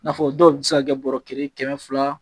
Nafɔ dɔw bi se ka kɛ bɔrɔ kelen kɛmɛ fila